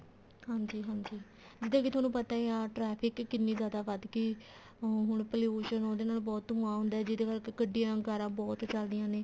ਹਾਂਜੀ ਹਾਂਜੀ ਜਿੱਦਾਂ ਕੇ ਤੁਹਾਨੂੰ ਪਤਾ ਹੀ ਆ traffic ਕਿੰਨੀ ਜਿਆਦਾ ਵੱਧ ਗੀ ਹੁਣ pollution ਉਹਦੇ ਨਾਲ ਬਹੁਤ ਧੁਆਂ ਹੁੰਦਾ ਜਿਹਦੇ ਕਰਕੇ ਗੱਡੀਆਂ ਕਾਰਾਂ ਬਹੁਤ ਚੱਲਦੀਆਂ ਨੇ